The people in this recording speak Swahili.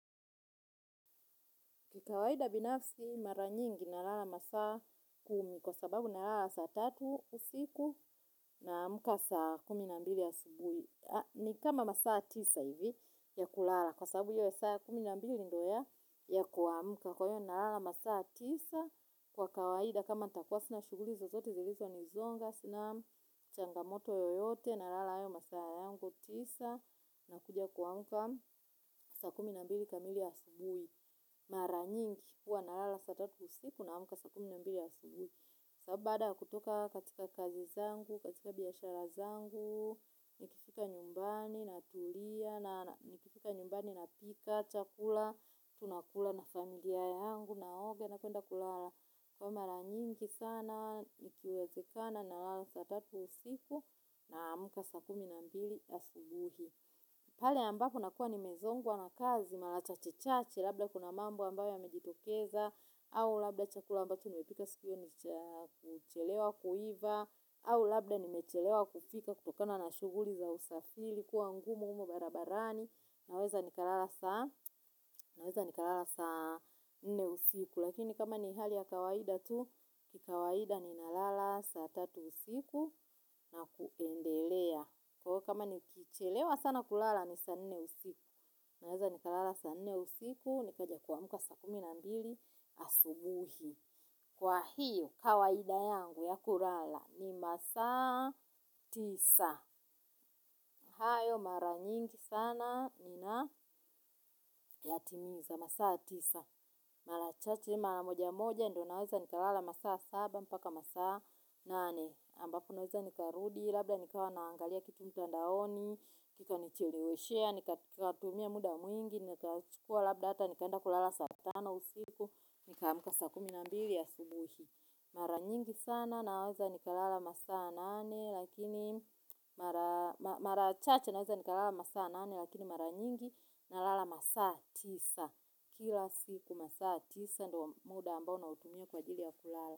Kikawaida binafsi mara nyingi nalala masaa kumi kwa sababu nalala saa tatu usiku naamka saa kumi na mbili asubuhi. Ni kama masaa tisa hivi ya kulala kwa sababu hiyo ya saa kumi na mbili ndo ya kuamka. Kwa hiyo nalala masaa tisa kwa kawaida kama nitakuwa sina shughuli zozote zilizo nizonga sina changamoto yoyote nalala hayo masaa yango tisa. Nakuja kuamka saa kumi na mbili kamili asubuhi mara nyingi huwa nalala saa tatu usiku naamka saa kumi na mbili asubuhi sababu baada ya kutoka katika kazi zangu, katika biashara zangu. Nikifika nyumbani natulia na nikifika nyumbani napika, chakula tunakula na familia yangu, naoga na kuenda kulala. Kwa hiyo mara nyingi sana ikiwezekana nalala saa tatu usiku nasmka saa kumi na mbili asubuhi pale ambapo nakuwa ni mezongwa na kazi, mara chache-chache, labda kuna mambo ambayo yamejitokeza, au labda chakula ambacho niwepika sikio ni kuchelewa kuiva, au labda nimechelewa kufika kutokana na shughuli za usafiri, kuwa ngumu huko barabarani, naweza nikalala saa nne usiku. Lakini kama ni hali ya kawaida tu, kikawaida ni nalala sa tatu usiku na kuendelea. Kwahiyo kama nikichelewa sana kulala ni saa nne usiku. Naweza nikalala saa nne usiku. Nikaja kuamka saa kumi na mbili asubuhi. Kwa hiyo kawaida yangu ya kulala ni masaa tisa. Hayo mara nyingi sana na nayatimiza masaa tisa, mara chache, mara moja moja ndo naweza nikalala masaa saba mpaka masaa nane ambapo naweza nikarudi. Labda nikawa naangalia kitu mtandaoni. Kikanicheleweshea, nikatumia muda mwingi, nikachukua labd hata, nikaenda kulala saa tano usiku, nikaamka saa kumi na mbili asubuhi mara nyingi sana naweza nikalala masaa nane, lakini mara chacha naweza ni kalala masaa nane, lakini mara nyingi na lala masaa tisa kila siku masaa tisa, ndo muda ambao na utumia kwa jili ya kulala.